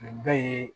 Nin bɛɛ ye